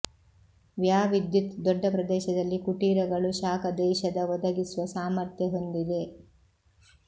ವ್ಯಾ ವಿದ್ಯುತ್ ದೊಡ್ಡ ಪ್ರದೇಶದಲ್ಲಿ ಕುಟೀರಗಳು ಶಾಖ ದೇಶದ ಒದಗಿಸುವ ಸಾಮರ್ಥ್ಯ ಹೊಂದಿದೆ